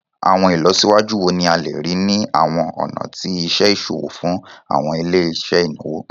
Awọn ilọsiwaju wo ni a le rii ni awọn ọna ti iṣe iṣowo fun awọn ile-iṣẹ inawo?